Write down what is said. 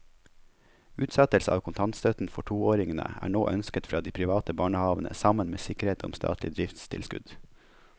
Utsettelse av kontantstøtten for toåringene er nå ønsket fra de private barnehavene sammen med sikkerhet om statlig driftstilskudd.